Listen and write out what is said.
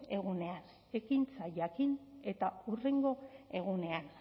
egunean ekintza jakin eta hurrengo egunean